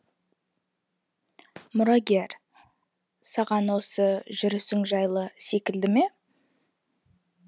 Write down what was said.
мұрагер саған осы жүрісің жайлы секілді ме